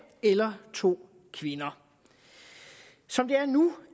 eller to kvinder som det er nu